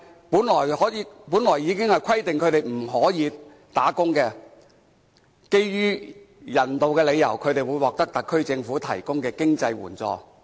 本來當局規定他們不可以工作，但基於人道理由，他們會獲得特區政府提供的經濟援助。